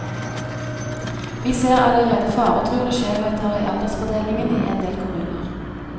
Vi ser allerede faretruende skjevheter i aldersfordelingen i endel kommuner.